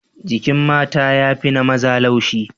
Jikin mata ya fi na maza laushi.